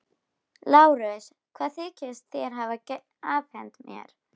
LÁRUS: Hvað þykist þér hafa afhent mér?